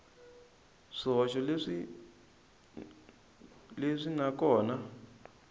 swihoxo leswi n kona a